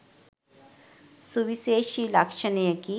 සුවිශේෂී ලක්ෂණයකි.